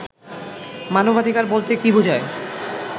মানবাধিকার বলতে কি বোঝায়